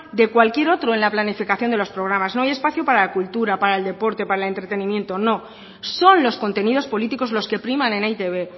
de cualquier otro en la planificación de los programas no hay espacio para la cultura para el deporte para el entretenimiento no son los contenidos políticos los que priman en e i te be